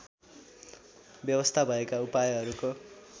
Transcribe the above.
व्यवस्था भएका उपायहरूको